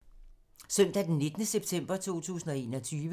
Søndag d. 19. september 2021